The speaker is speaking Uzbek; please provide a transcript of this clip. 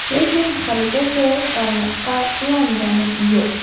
Lekin haligacha tarmoqqa ulangani yo‘q.